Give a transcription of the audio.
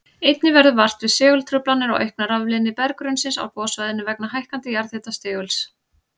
Einnig verður vart við segultruflanir og aukna rafleiðni berggrunnsins á gossvæðinu vegna hækkandi jarðhitastiguls.